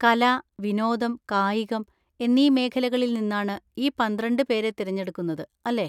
കല, വിനോദം, കായികം എന്നീ മേഖലകളിൽ നിന്നാണ് ഈ പന്ത്രണ്ട് പേരെ തിരഞ്ഞെടുക്കുന്നത്, അല്ലേ?